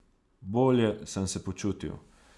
Bolje sem se počutil.